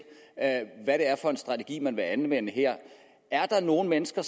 hvad det er for en strategi man vil anvende er der nogle mennesker